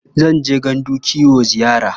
Zan je gandun kiwo ziyara.